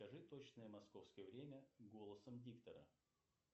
скажи точное московское время голосом диктора